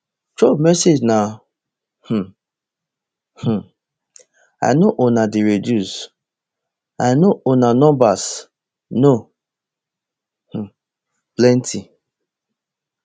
trump message na um um i know una dey reduce i no una numbers no um plenty